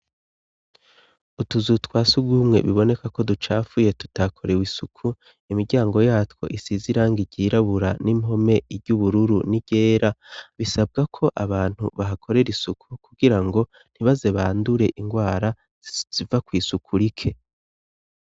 Utuzu twa surwumwe biboneka ko ducafuye tutakorewe isuku, imiryango yatwo isize irangi igirabura n'impome iry'ubururu n'iryera , bisabwa ko abantu bahakorera isuku kugira ngo ntibaze bandure indwara ziva kw' isuku rike.